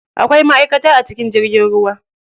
Akwai maʼaikata a cikin jirgin ruwa.